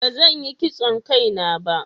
ba zan Yi kitson Kai na ba